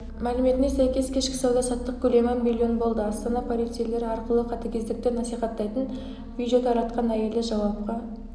мәліметіне сәйкес кешкі сауда-саттық көлемі млн болды астана полицейлері арқылы қатыгездікті насихаттайтын видео таратқан әйелді жауапқа